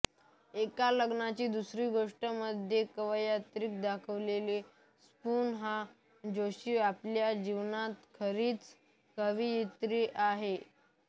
एका लग्नाची दुसरी गोष्टमध्ये कवयित्री दाखवलेली स्पृहा जोशी आपल्या जीवनात खरीच कवयित्री आहे